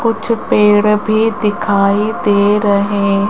कुछ पेड़ भी दिखाई दे रहें--